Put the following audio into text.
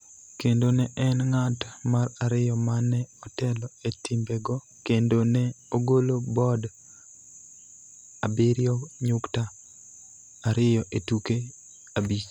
kendo ne en ng�at mar ariyo ma ne otelo e timbego kendo ne ogolo bod abiriyo nyukta ariyo e tuke abich.